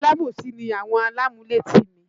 Alábòsí ni àwọn alámúlétì mi